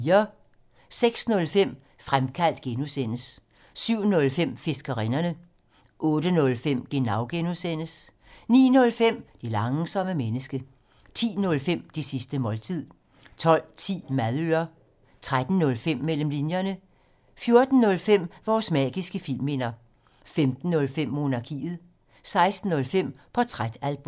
06:05: Fremkaldt (G) 07:05: Fiskerinderne 08:05: Genau (G) 09:05: Det langsomme menneske 10:05: Det sidste måltid 12:10: Madøre 13:05: Mellem linjerne 14:05: Vores magiske filmminder 15:05: Monarkiet 16:05: Portrætalbum